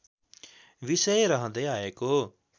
विषय रहँदै आएको